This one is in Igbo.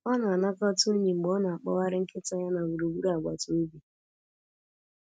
Ọ na-anakọta unyi mgbe ọ na-akpọgharị nkịta ya na gburugburu agbata obi.